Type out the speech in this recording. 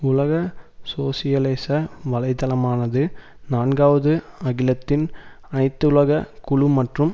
உலக சோசியலிச வலைதளமானது நான்காவது அகிலத்தின் அனைத்துலக குழு மற்றும்